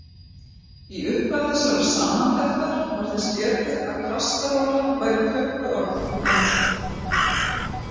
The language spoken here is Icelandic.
Í upphafi þessarar samantektar var þess getið að kastarola væri tökuorð úr dönsku.